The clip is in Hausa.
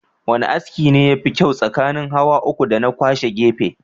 Wane aski ne yafi kyau tsakanin hawa uku dana kwashe gefe?